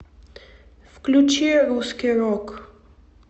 включи русский рок